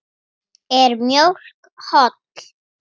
Ragnar er hvergi nærri hættur.